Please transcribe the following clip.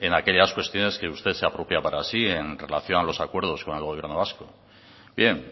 en aquellas cuestiones que usted se apropia para sí en relación a los acuerdos con el gobierno vasco bien